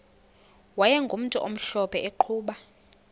wayegumntu omhlophe eqhuba